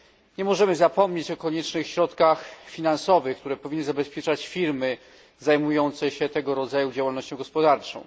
Nie możemy zapomnieć o koniecznych środkach finansowych, które powinny zabezpieczać firmy zajmujące się tego rodzaju działalnością gospodarczą.